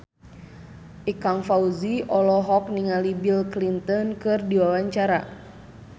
Ikang Fawzi olohok ningali Bill Clinton keur diwawancara